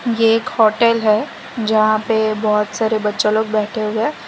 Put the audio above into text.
ये एक होटेल है जहां पे बहुत सारे बच्चे लोग बैठे हुए है।